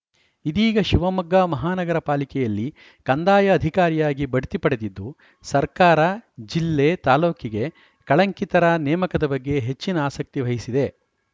ಇದೀಗ ಶಿವಮೊಗ್ಗ ಮಹಾನಗರ ಪಾಲಿಕೆಯಲ್ಲಿ ಕಂದಾಯ ಅಧಿಕಾರಿಯಾಗಿ ಭಡ್ತಿ ಪಡೆದಿದ್ದು ಸರ್ಕಾರ ಜಿಲ್ಲೆ ತಾಲೂಕಿಗೆ ಕಳಂಕಿತರ ನೇಮಕದ ಬಗ್ಗೆ ಹೆಚ್ಚಿನ ಆಸಕ್ತಿ ವಹಿಸಿದೆ